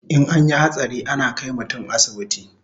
In anyi hatsari ana kai mutun asibiti